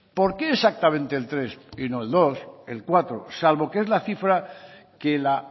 por qué exactamente el tres y no el dos el cuatro salvo que es la cifra que la